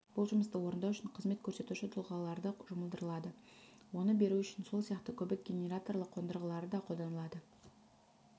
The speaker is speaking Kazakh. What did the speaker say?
бұл жұмыстарды орындау үшін қызмет көрсетуші тұлғаларды жұмылдырады оны беру үшін сол сияқты көбік генераторлы қондырғыларды қолданады